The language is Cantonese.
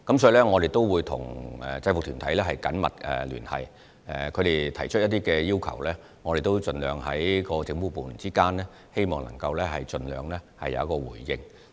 所以，我們會跟制服團體緊密聯繫，若他們有提出要求，我們各政府部門之間便會盡量作出回應。